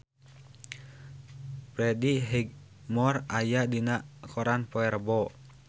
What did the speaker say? Freddie Highmore aya dina koran poe Rebo